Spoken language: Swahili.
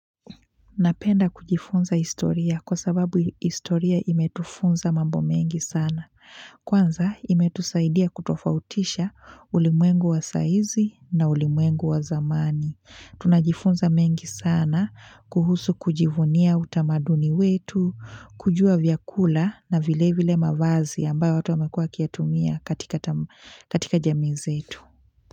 Napenda kujifunza historia kwa sababu historia imetufunza mambo mengi sana. Kwanza imetusaidia kutofautisha ulimwengu wa saizi na ulimwengu wa zamani. Tunajifunza mengi sana kuhusu kujivunia utamaduni wetu, kujua vyakula na vile vile mavazi ambayo watu wamekuwa wakiyatumia katika jamii zetu.